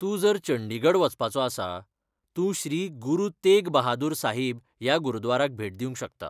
तूं जर चंडीगढ वचपाचो आसा, तूं श्री गुरू तेघ बहादूर साहिब ह्या गुरद्वाराक भेट दिवंक शकता.